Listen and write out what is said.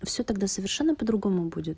всё тогда совершенно по-другому будет